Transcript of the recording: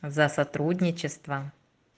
за сотрудничество